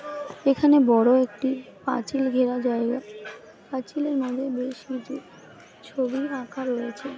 এখানে বড়ো একটি পাঁচিল ঘেরা জায়গা পাঁচিলের মধ্যে বেশ কিছু ছবি আঁকা রয়েছে ।